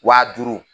Wa duuru